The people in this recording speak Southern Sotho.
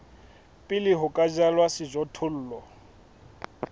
pele ho ka jalwa sejothollo